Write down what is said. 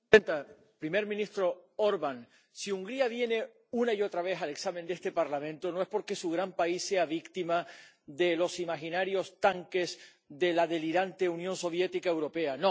Señora presidenta, primer ministro Orbán, si Hungría viene una y otra vez al examen de este Parlamento no es porque su gran país sea víctima de los imaginarios tanques de la delirante Unión Soviética europea.